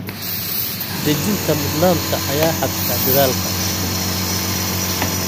Dejinta mudnaanta ayaa hagta dadaalka.